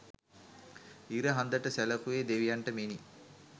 ඉර හඳ ට සැලකුවේ දෙවියන්ට මෙනි.